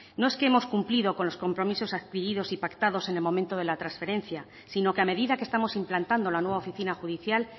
no es que hemos cumplido con los compromisos adquiridos y pactados en el momento de la transferencia sino que a medida que estamos implantando la nueva oficina judicial